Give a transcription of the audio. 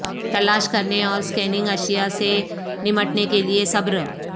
تلاش کرنے اور سکیننگ اشیاء سے نمٹنے کے لئے صبر